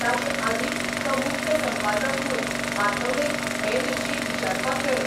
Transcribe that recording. ताचे आदीं तो मुख्य संपादक म्हूण आठवलेक हें विर्शी विचारपाक गेलो.